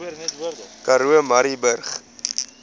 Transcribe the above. karoo murrayburg